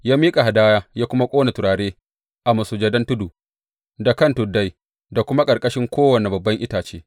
Ya miƙa hadaya, ya kuma ƙona turare a masujadan tudu, da kan tuddai, da kuma a ƙarƙashin kowane babban itace.